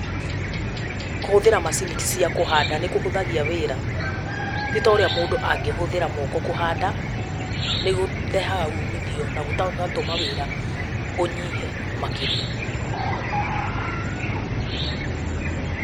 Kũhũthĩra macini cia kũhanda nĩ kũhũthagia wĩra. Ti ta ũrĩa mũndũ angĩhũthĩra moko kũhanda. Ni kũrehaga umithio na gũgatũma wĩra ũnyihe makĩria.